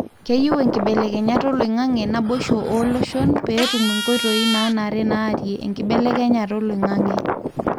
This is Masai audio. keyieu enkibelekenyata oloingange nabosho olooshon pe etum enkoitoi nanare narie enkibelekenyata oloingange.